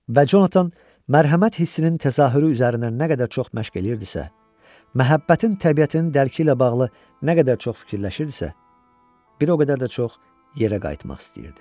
Və Jonathan mərhəmət hissinin təzahürü üzərində nə qədər çox məşq eləyirdisə, məhəbbətin təbiətini dərki ilə bağlı nə qədər çox fikirləşirdisə, bir o qədər də çox yerə qayıtmaq istəyirdi.